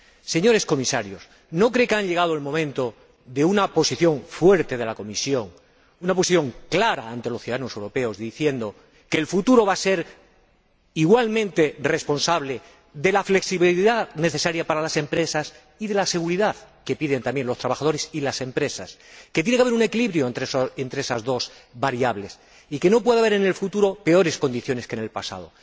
Señores Comisarios, ¿no creen que ha llegado el momento de adoptar una posición fuerte por parte de la Comisión, una posición clara ante los ciudadanos europeos diciendo que el futuro va a ser igualmente responsable de la flexibilidad necesaria para las empresas y de la seguridad que piden también los trabajadores y las empresas, que tiene que haber un equilibrio entre esas dos variables y que no puede haber en el futuro peores condiciones que el pasado?